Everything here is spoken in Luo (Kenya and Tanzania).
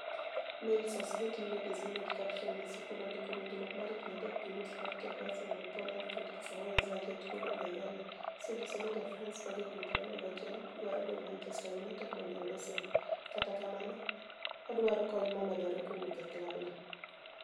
(Mail) Source, Getty Images Image captioni Mesy Cool onidiko winijruok mar hignii adek gi nius mar tiego Arsenial Paul Alfred Kisaawe's agenit Mino Raiola oseniyiso nii ja Franice ma jahignii 26 dwaro donig' Manichester Uniited monido "oyud osimbo", kata kamano odwaro koniy momedore kowuok e klabno.